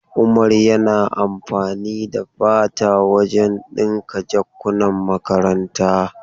Umar yana amfani da fata wajen dinkin jakankunan makaranta.